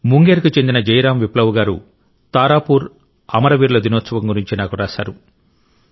ముంగేర్కు చెందిన జైరామ్ విప్లవ్ గారు తారాపూర్ అమరవీరుల దినోత్సవం గురించి నాకు రాశారు